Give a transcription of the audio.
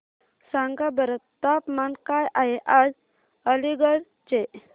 सांगा बरं तापमान काय आहे आज अलिगढ चे